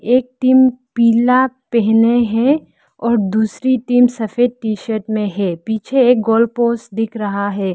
एक टीम पीला पहने हैं और दूसरी टीम सफेद टी शर्ट में है पीछे एक गोल पोस्ट दिख रहा है।